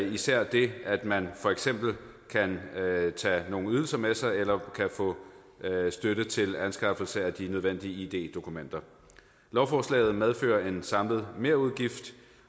især det at man for eksempel kan tage nogle ydelser med sig eller kan få støtte til anskaffelse af de nødvendige id dokumenter lovforslaget medfører en samlet merudgift